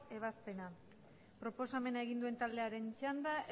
ebazpena proposamena egin duen taldearen txanda